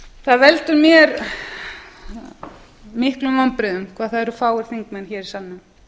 það veldur mér miklum vonbrigðum hvað það eru fáir þingmenn hér í salnum